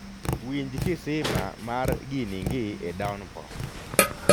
winj kisima mar giningi e downpour